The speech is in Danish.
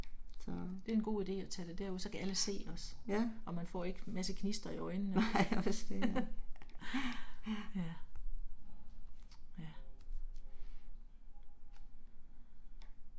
Så. Ja. Nej også det ja, ja, ja